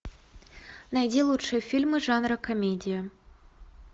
найди лучшие фильмы жанра комедия